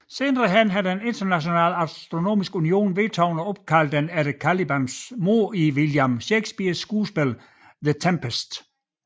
Senere har den Internationale Astronomiske Union vedtaget at opkalde den efter Calibans mor i William Shakespeares skuespil The Tempest